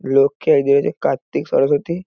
লক্ষ্মী আর এদিকে রয়েছে কার্তিক সরস্বতী।